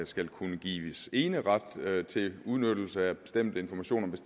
skal kunne gives eneret til udnyttelse af bestemte informationer hvis